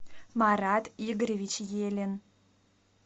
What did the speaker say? марат игоревич елин